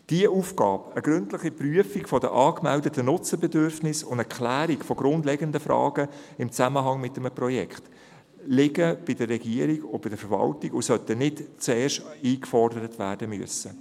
Diese Aufgabe – eine gründliche Prüfung der angemeldeten Nutzerbedürfnisse und eine Klärung von grundlegenden Fragen im Zusammenhang mit einem Projekt – liegt bei der Regierung und bei der Verwaltung und sollte nicht zuerst eingefordert werden müssen.